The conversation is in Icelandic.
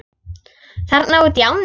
Þarna útí ánni?